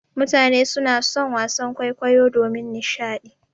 Mutane suna son wasan kwaikwayo domin nishaɗi.